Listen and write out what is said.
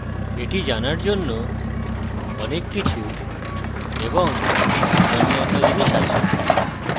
এটি জানার জন্য অনেক কিছু এবং অন্যান্য জিনিস আছে